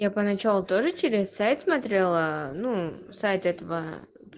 я поначалу тоже через сайт смотрела ну сайт этого